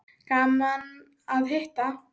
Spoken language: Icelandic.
Gaman að hitta